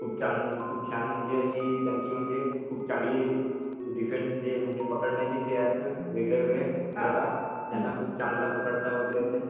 खूप छान म्हणजे त्यांची म्हणजे खूप चांगली डिफेन्सचे म्हणजे पकड्ण्याचे जे आसते ना खूप वेगवेगळे प्रकार आहेत ते त्यांना खूप चांगल पकड़ता वैगेरे येतात.